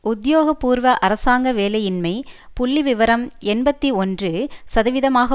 உத்தியோகபூர்வ அரசாங்க வேலையின்மை புள்ளிவிவரம் எண்பத்தி ஒன்று சதவகிதமாக